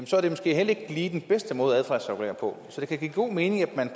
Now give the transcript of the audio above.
så er det måske heller ikke lige den bedste måde at adfærdsregulere på så det kan give god mening at man